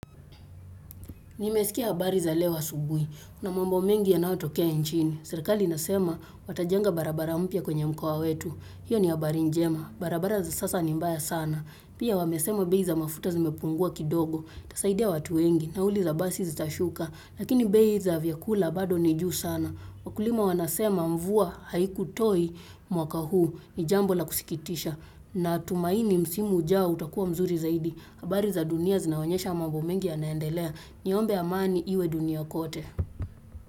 Nimesikia habari za leo asubuhi. Kuna mambo mengi ya nayo tokea nchini. Serekali inasema watajenga barabara mpya kwenye mkoa wetu. Hiyo ni habari njema. Barabara za sasa ni mbaya sana. Pia wamesema beiza mafuta zimepungua kidogo. Itasaidia watu wengi. Nauli za basi zitashuka. Lakini bei za vyakula bado nijuu sana. Wakulima wanasema mvua haiku toi mwaka huu. Nijambo la kusikitisha. Na tumaini msimu ujao utakuwa mzuri zaidi. Habari za dunia zinaonyesha mambo mengi ya naendelea. Niombe amani iwe dunia kote.